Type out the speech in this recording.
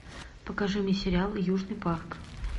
покажи мне сериал южный парк